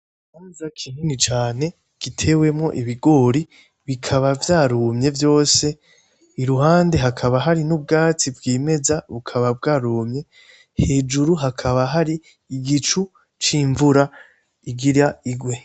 Mamuza kinini cane gitewemo ibigori bikaba vyarumye vyose i ruhande hakaba hari n'ubwatsi bw'imeza bukaba bwarumye hejuru hakaba hari igicu c'imvura igira igwe.